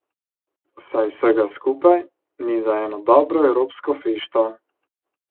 Saj vsega skupaj ni za eno dobro evropsko fešto.